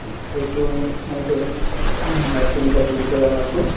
সেইটো night ত night চৌকিদাৰ বুলি কই আমাৰতো